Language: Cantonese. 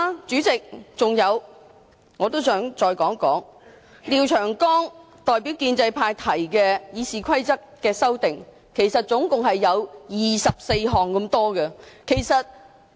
再者，廖長江議員代表建制派對《議事規則》共提出了24項修訂建議。